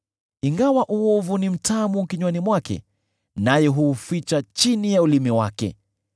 “Ingawa uovu ni mtamu kinywani mwake naye huuficha chini ya ulimi wake,